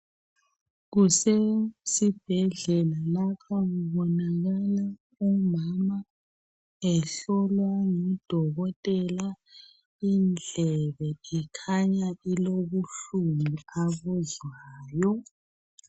Kusesibhedlela lapho ngibonakala umama ehlolwa ngudokotela indlebe ikhanya ilobuhlungu abuzwayo.